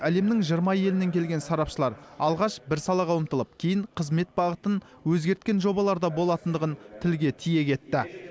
әлемнің жиырма елінен келген сарапшылар алғаш бір салаға ұмтылып кейін қызмет бағытын өзгерткен жобаларда болатындығын тілге тиек етті